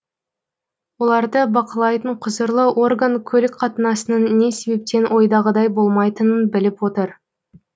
оларды бақылайтын құзырлы орган көлік қатынасының не себептен ойдағыдай болмайтынын біліп отыр